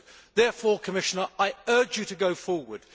Therefore, Commissioner, I urge you to go forward.